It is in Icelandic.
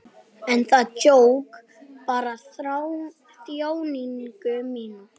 En það jók bara þjáningu mína.